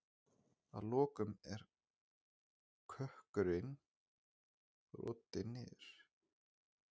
Að lokum er kökkurinn brotinn niður.